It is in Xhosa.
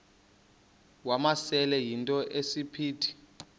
wamasele yinto esisiphithi